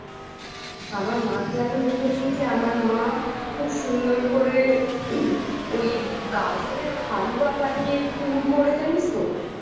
আমার মাকে আমি দেখেছি যে আমার মা খুব সুন্দর করে ওই গাজরের হালুয়া বানিয়ে পুর করে জানিস তো